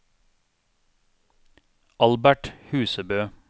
Albert Husebø